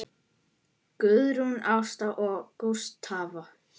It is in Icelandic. Guðrún Ásta og Gústav.